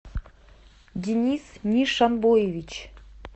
денис нишанбоевич